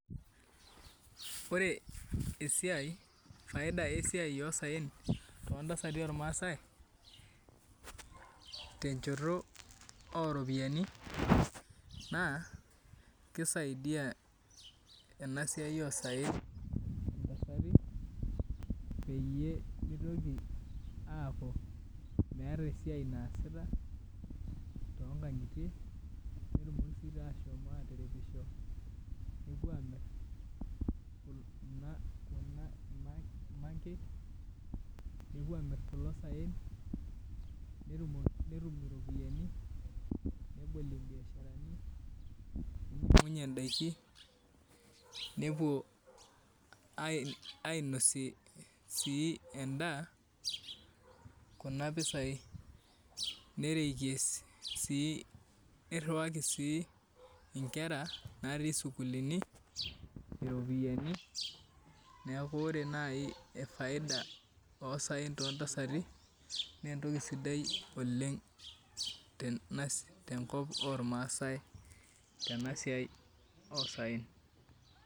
Ore esiai faida esiai osaen tontasati olmaasai tenjoto oropiani naa kisaidia ena siai osaen intasati peyie mitoki aaku meeta esiai naasita toonkangitie netumoki sii meshomo aatirioisho nepuo aamir kuna mangek nepuo amir kulo seen netum iropiani nebol imbiasharani ningan'unye in'daiki nepuo ainosie sii endaa kuna piasai nerikie sii nirhiwaki sii inkera natii isukuilini iropiani niaku ore nai efaida osaen tontasati naa entoki sidai oleng tenkop olamaasai tena siai osaen